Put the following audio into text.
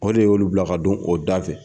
O de y'olu bila ka don o da fɛ.